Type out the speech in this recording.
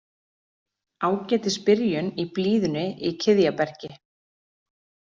Ágætis byrjun í blíðunni í Kiðjabergi